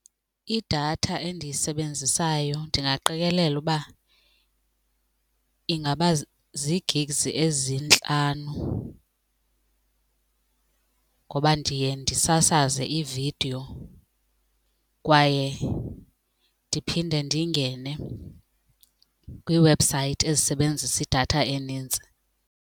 Idatha endiyisebenzisayo ndingaqikelela uba ingaba zii-gigs ezintlanu ngoba ndiye ndisasaze ividiyo kwaye ndiphinde ndingene kwiiwebhusayithi ezisebenzisa idatha enintsi.